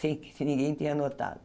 Sem que ninguém tenha notado.